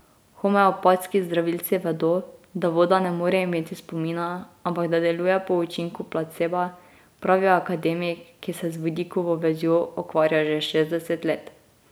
Homeopatski zdravilci vedo, da voda ne more imeti spomina, ampak da deluje po učinku placeba, pravi akademik, ki se z vodikovo vezjo ukvarja že šestdeset let.